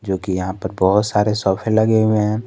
क्योंकि यहां पर बहुत सारे सोफे लगे हुए हैं।